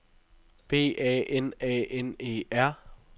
B A N A N E R